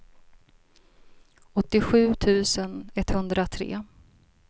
åttiosju tusen etthundratre